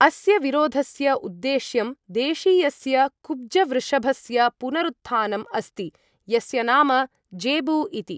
अस्य विरोधस्य उद्देश्यं देशीयस्य कुब्जवृषभस्य पुनरुत्थानम् अस्ति, यस्य नाम ज़ेबू इति।